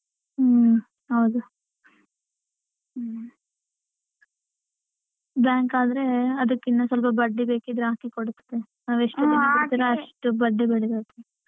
ಹ್ಮ್ ಹೌದು ಹ್ಮ್ bank ಆದ್ರೆ ಅದಿಕ್ಕಿನ್ನ ಸ್ವಲ್ಪ ಬಡ್ಡಿ ಬೇಕಿದ್ರೆ ಹಾಕಿ ಕೊಡುತ್ವೆ .